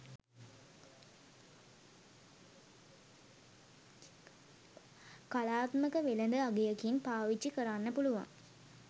කලාත්මක වෙළඳ අගයකින් පාවිච්චි කරන්න පුළුවන්